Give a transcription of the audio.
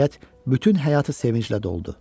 Nəhayət, bütün həyatı sevinclə doldu.